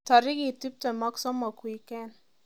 Tarikit tuptem ak somok wikend